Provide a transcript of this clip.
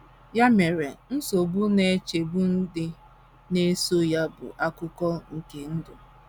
Ya mere, nsogbu na nchegbu ndị na - eso ya bụ akụkụ nke ndụ.